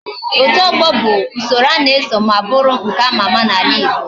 Otu ogbo bu usoro ana eso ma buru nke ama ama na ala igbo